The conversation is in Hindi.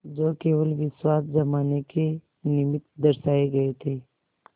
जो केवल विश्वास जमाने के निमित्त दर्शाये गये थे